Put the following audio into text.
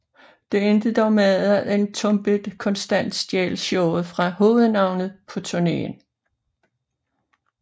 Det endte dog med at Entombed konstant stjal showet fra hovednavnet på turnéen